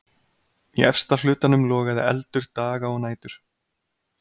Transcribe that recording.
Í efsta hlutanum logaði eldur daga og nætur.